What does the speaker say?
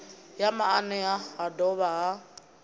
ya maanea ha dovha ha